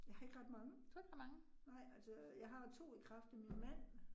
Jeg har ikke ret mange, nej altså jeg har 2 i kraft af min mand